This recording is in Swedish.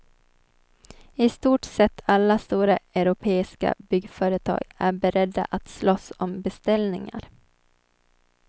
I stort sett alla stora europeiska byggföretag är beredda att slåss om beställningar.